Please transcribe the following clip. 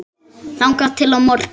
þangað til á morgun?